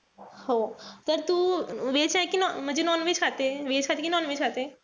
हो त तू veg आहे कि म्हणजे non-veg खाते? Veg खाते कि non-veg खाते?